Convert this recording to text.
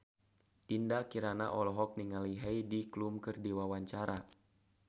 Dinda Kirana olohok ningali Heidi Klum keur diwawancara